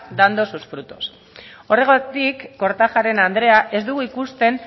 dando sus frutos horregatik kortajarena andrea ez dugu ikusten